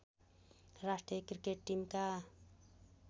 राष्ट्रिय क्रिकेट टिमका